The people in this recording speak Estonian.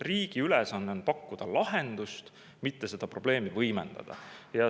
Riigi ülesanne on pakkuda lahendust, mitte seda probleemi võimendada.